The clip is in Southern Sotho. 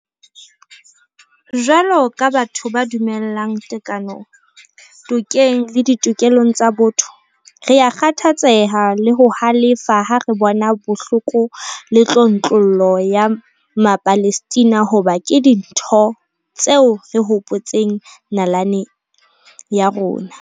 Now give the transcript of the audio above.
Jwalo ka batho ba dumelang tekanong, tokeng le ditokelong tsa botho, rea kgathatseha le ho halefa ha re bona bohloko le tlontlollo ya Mapalestina hoba ke dintho tse re hopotsang nalane ya rona.